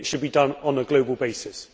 It should be done on a global basis.